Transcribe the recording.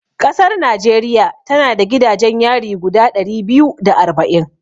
Ƙasar Najeriya tana da gidajen yari guda ɗari biyu da arba'in.